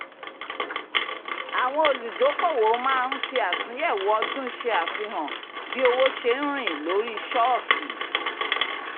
àwọn olùdókòwò máa ń fi àtúnyẹ̀wò ọdún ṣe àfihàn bí owó ṣe ń rìn lórí ṣọ́ọ̀kì